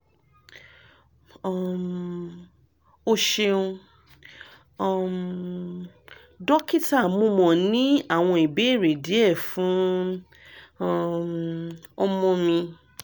um o ṣeun um dokita mo mo ni awọn ibeere diẹ fun um ọmọ mi